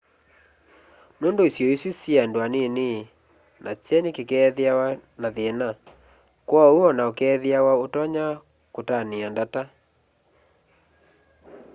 nundu isio isu syi andu anini na kyeni kiikethiawa na thina kwoou ona ukeethiawa utonya kutania ndata